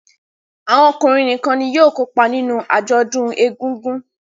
Awọn ọkunrin nìkàn ní yóò kópa nínú ajọdun ègùngùn